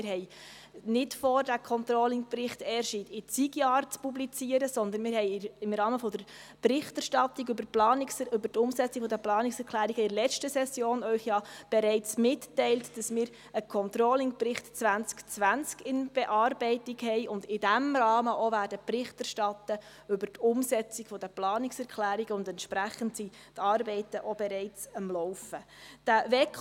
Wir haben nicht vor, diesen Controllingbericht erst in zig Jahren zu publizieren, sondern wir haben Ihnen im Rahmen der Berichterstattung über die Umsetzung der Planungserklärungen in der letzten Session ja bereits mitgeteilt, dass wir einen Controllingbericht 2020 in Bearbeitung haben und in diesem Rahmen auch Bericht über die Umsetzung der Planungserklärungen und entsprechende Arbeiten, die auch bereits am Laufen sind, erstatten werden.